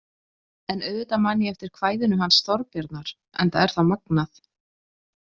En auðvitað man ég eftir kvæðinu hans Þorbjarnar enda er það magnað.